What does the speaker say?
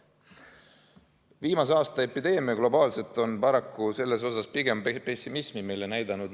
Viimase aasta epideemia on globaalselt paraku selles osas meile pigem pessimismi näidanud.